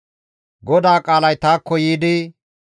GODAA qaalay taakko yiidi,